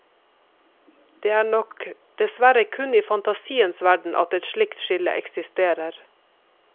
Det er nok dessverre kun i fantasienes verden at et slikt skille eksisterer.